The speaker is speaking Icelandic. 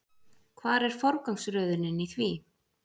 Hvar er forgangsröðunin í því?